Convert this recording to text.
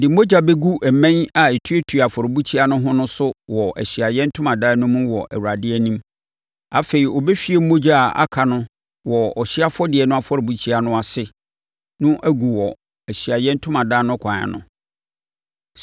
Ɔde mogya bɛgu mmɛn a ɛtuatua afɔrebukyia no ho no so wɔ Ahyiaeɛ Ntomadan no mu wɔ Awurade anim. Afei ɔbɛhwie mogya a aka wɔ ɔhyeɛ afɔdeɛ no afɔrebukyia no ase no agu wɔ Ahyiaeɛ Ntomadan no kwan ano.